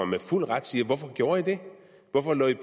med fuld ret sige hvorfor gjorde i det hvorfor lå i